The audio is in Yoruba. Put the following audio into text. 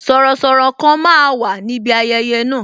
Sọ̀rọ̀sọ̀rọ̀ kan máa wà níbi ayẹyẹ na